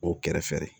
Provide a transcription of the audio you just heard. O kɛrɛfɛ